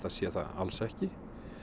sé það alls ekki